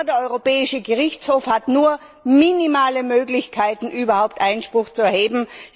Sogar der Europäische Gerichtshof hat nur minimale Möglichkeiten, überhaupt Einspruch zu erheben.